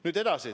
Nüüd edasi.